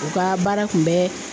U ka baara kun bɛ